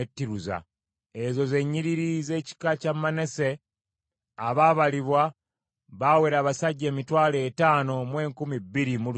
Ezo ze nnyiriri z’ekika kya Manase; abaabalibwa baawera abasajja emitwalo etaano mu enkumi bbiri mu lusanvu (52,700).